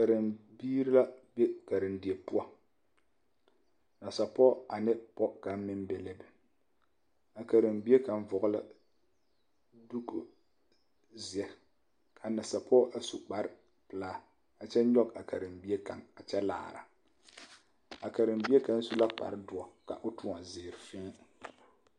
Karenbiiri la be karendie poɔ nasapɔge ane pɔge kaŋa meŋ be la be a karenbie kaŋ vɔgle la diko zeɛ a nasapɔge a su kparepelaa a kyɛ nyɔge a karenbie kaŋ a kyɛ laara a karenbie kaŋ su la kparedoɔ ka o toɔ zeere fēē.